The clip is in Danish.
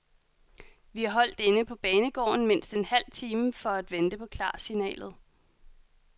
Vi holdt inde på banegården mindst en halv time for at vente på klarsignalet.